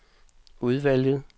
udvalget